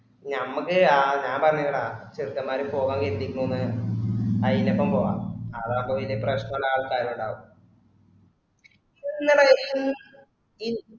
ഞമ്മക്ക്‌ ആ ഞ പറഞ്ഞില്ലടാ ചെർക്കമാര് പോകാനീതിക്ക്‌ എന്ന്അയിനൊപ്പോം അതാവുമ്പൊ വല്ല്യ പ്രശനയുള്ള ആള് എന്തായലും ഇണ്ടാവും